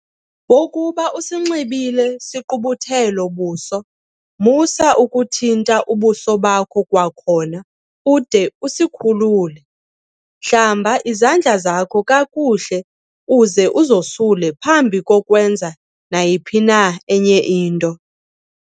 Wakuba usinxibile sigqubuthelo-buso, MUSA UKUTHINTA UBUSO BAKHO kwakhona ude usikhulule. Hlamba izandla zakho kakuhle uze uzosule phambi kokwenza nayiphi na enye into.